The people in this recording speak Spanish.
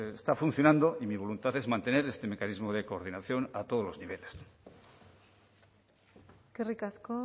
está funcionando y mi voluntad es mantener este mecanismo de coordinación a todos los niveles eskerrik asko